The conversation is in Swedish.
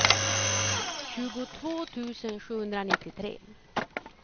tjugotvå tusen sjuhundranittiotre